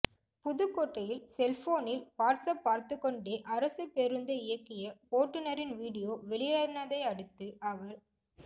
புதுக்கோட்டையில் செல்போனில் WhatsApp பார்த்துக்கொண்டே அரசு பேருந்தை இயக்கிய ஓட்டுநரின் வீடியோ வெளியானதையடுத்து அவர்